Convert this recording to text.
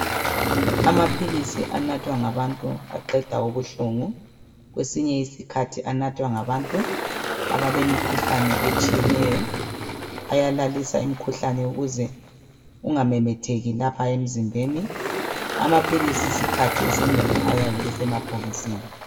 Amaphilisi anathwa ngabantu aqeda ubuhlungu. Kwesinye isikhathi anathwa ngabantu abalemikhuhlane etshiyeneyo. Ayalalisa imikhuhlane ukuze kungamemetheki lapha emzimbeni, Amaphilisi isikhathi esinengi ayabe esemabhokisini.